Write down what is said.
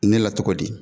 Ne la cogo di